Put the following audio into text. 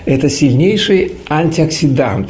это сильнейший антиоксидант